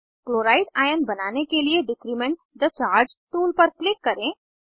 chloride ion बनाने के लिए डिक्रीमेंट थे चार्ज टूल पर क्लिक करें